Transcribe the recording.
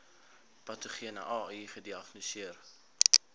patogene ai gediagnoseer